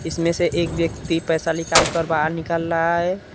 इसमें से एक व्यक्ति पैसा निकाल कर बाहर निकल रहा है।